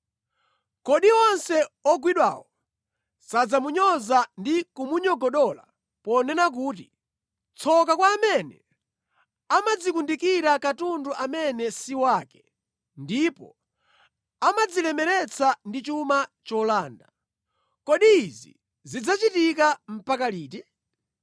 “Kodi onse ogwidwawo sadzamunyoza ndi kumunyogodola ponena kuti, “Tsoka kwa amene amadzikundikira katundu amene si wake ndipo amadzilemeretsa ndi chuma cholanda! Kodi izi zidzachitika mpaka liti?